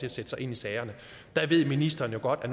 at sætte sig ind i sagerne der ved ministeren jo godt at